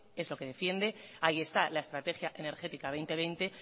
es lo que defiende ahí está la estrategia energética dos mil veinte